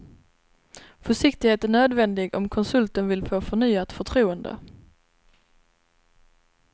Försiktighet är nödvändig om konsulten vill få förnyat förtroende.